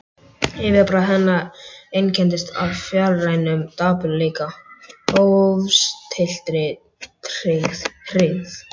Yfirbragð hennar einkenndist af fjarrænum dapurleika, hófstilltri hryggð.